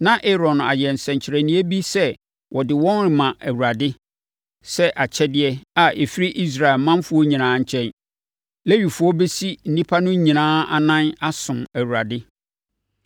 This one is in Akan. na Aaron ayɛ nsɛnkyerɛnneɛ bi sɛ ɔde wɔn rema Awurade sɛ akyɛdeɛ a ɛfiri Israel manfoɔ nyinaa nkyɛn. Lewifoɔ bɛsi nnipa no nyinaa anan asom Awurade.